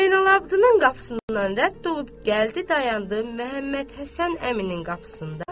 Zeynalabddının qapısından rədd olub gəldi dayandı Məhəmməd Həsən əminin qapısında.